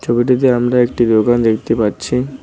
ছবিটিতে আমরা একটি দোকান দেখতে পাচ্ছি।